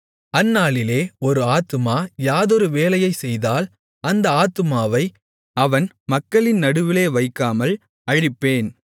அந்நாளிலே ஒரு ஆத்துமா யாதொரு வேலையைச் செய்தால் அந்த ஆத்துமாவை அவன் மக்களின் நடுவிலே வைக்காமல் அழிப்பேன்